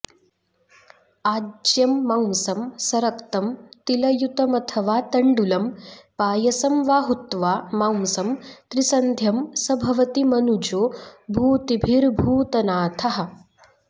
आज्यं मांसं सरक्तं तिलयुतमथवा तण्डुलं पायसं वा हुत्वा मांसं त्रिसन्ध्यं स भवति मनुजो भूतिभिर्भूतनाथः